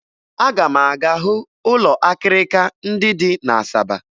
Aga m aga hụ ụlọ akịrịka ndị dị na Asaba